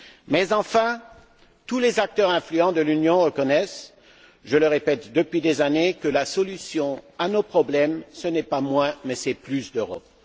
Mais enfin, tous les acteurs influents de l'Union reconnaissent je le répète depuis des années que la solution à nos problèmes ce n'est pas moins mais plus d'Europe.